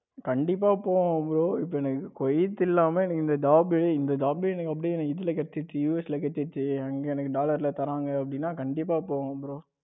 கண்டிப்பா போவேன் bro எனக்கு COVID இல்லாம எனக்கு இந்த job இந்த job எனக்கு US கிடைச்சிடுச்சு அங்க எனக்கு dollar தாராங்க அப்படின்னா கண்டிப்பா போவேன் bro.